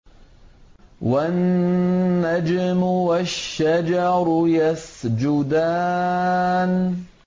وَالنَّجْمُ وَالشَّجَرُ يَسْجُدَانِ